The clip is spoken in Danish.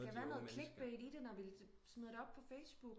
Der skal være noget clickbait i det når vi smider det op på Facebook